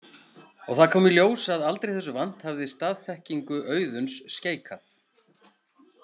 Og það kom í ljós að aldrei þessu vant hafði staðþekkingu Auðuns skeikað.